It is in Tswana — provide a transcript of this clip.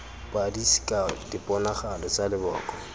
padi sekao diponagalo tsa leboko